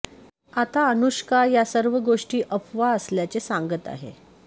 आत अनुष्का या सर्व गोष्टी अफवा असल्याचे सांगत आहे